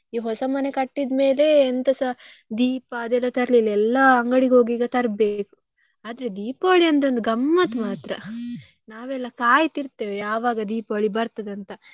ಈ ಹೊಸ ಮನೆ ಕಟ್ಟಿದ್ ಮೇಲೆ ಎಂತಾಸ ದೀಪ ಅದೆಲ್ಲ ತರ್ಲಿಲ್ಲ ಎಲ್ಲ ಅಂಗಡಿಗೆ ಹೋಗಿ ಈಗ ತರ್ಬೇಕು ಆದ್ರೆ Deepavali ಅಂದ್ರೆ ಒಂದ್ ಗಮ್ಮತ್ ಮಾತ್ರ ನಾವೆಲ್ಲ ಕಾಯ್ತಾ ಇರ್ತೆವೆ ಯಾವಾಗ Deepavali ಬರ್ತದೆ ಅಂತ.